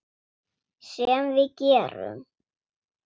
Sem við gerum.